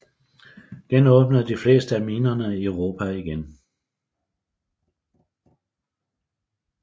Genåbnede de fleste af minerne Europa igen